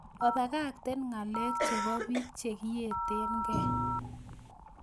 Obakakten ngalek chebo biik chekiyetenge